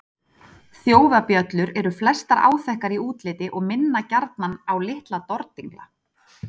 Þjófabjöllur eru flestar áþekkar í útliti og minna gjarnan á litla dordingla.